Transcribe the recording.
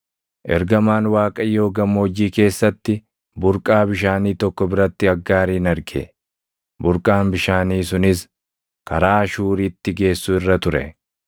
Ergamaan Waaqayyoo gammoojjii keessatti, burqaa bishaanii tokko biratti Aggaarin arge; burqaan bishaanii sunis karaa Shuuritti geessu irra ture.